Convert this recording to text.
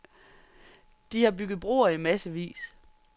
De har bygget broer i massevis.